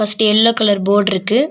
First yellow colour போட்ருக்கு .